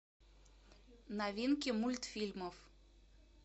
новинки мультфильмов